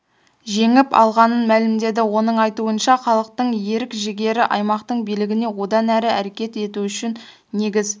жеңіп алғанын мәлімдеді оның айтуынша халықтың ерік-жігері аймақтың билігіне одан әрі әрекет ету үшін негіз